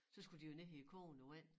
Så skulle de jo ned i kogende vand